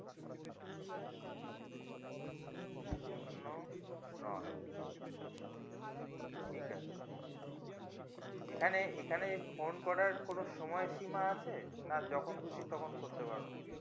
শুন্য নয় ঠিক আছে এখানে এখানে phone করার কোনো সময় সীমা আছে না যখন খুশি তখন করতে পারবো